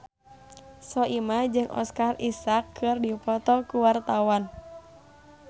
Soimah jeung Oscar Isaac keur dipoto ku wartawan